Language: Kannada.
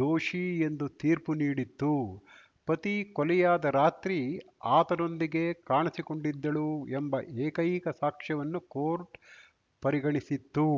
ದೋಷಿ ಎಂದು ತೀರ್ಪು ನೀಡಿತ್ತು ಪತಿ ಕೊಲೆಯಾದ ರಾತ್ರಿ ಆತನೊಂದಿಗೆ ಕಾಣಿಸಿಕೊಂಡಿದ್ದಳು ಎಂಬ ಏಕೈಕ ಸಾಕ್ಷ್ಯವನ್ನು ಕೋರ್ಟ್‌ ಪರಿಗಣಿಸಿತ್ತು